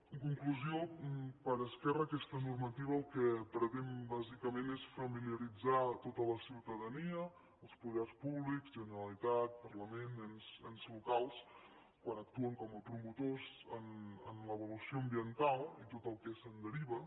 en conclusió per esquerra aquesta normativa el que pretén bàsicament és familiaritzar tota la ciutadania els poders públics generalitat parlament ens locals quan actuen com a promotors en l’avaluació ambiental i tot el que se’n deriva